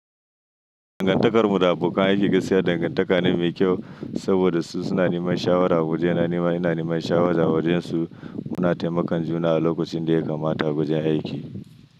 Dangantakarmu da abokan aiki gasa dangantaka mai kyau saboda su suna neman shawara. Wajena nima ina neman shawara a wajensu muna taimakon juna a lokacin da ya kamata a wajen aiki.